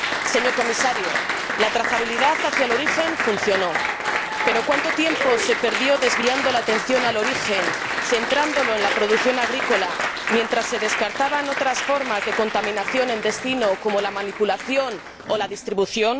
Señor Comisario, la trazabilidad hacia el origen funcionó, pero ¿cuánto tiempo se perdió desviando la atención hacia el origen, centrándola en la producción agrícola, mientras se descartaban otras formas de contaminación en destino, como la manipulación o la distribución?